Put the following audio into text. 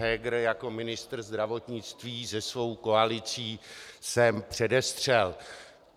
Heger jako ministr zdravotnictví se svou koalicí sem předestřel.